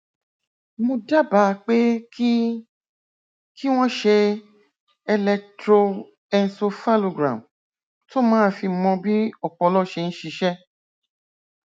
mo dábàá pé kí kí wọn ṣe electroencephalogram tó máa fi mọ bí ọpọlọ ṣe ń ṣiṣẹ